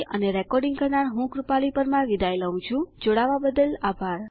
જોડાવા બદ્દલ આભાર અને લીબર ઓફીસ રાઈટરમાં ઘણી ભાષાઓનું અન્વેષણ કરતા આનંદ માણો